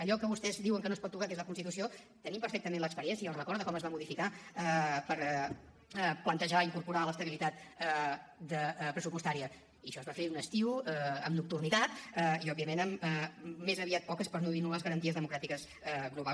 allò que vostès diuen que no es pot tocar que és la constitució tenim perfectament l’experiència i el record de com es va modificar per plantejar incorporar hi l’estabilitat pressupostària i això es va fer un estiu amb nocturnitat i òbviament amb més aviat poques per no dir nul·les garanties democràtiques globals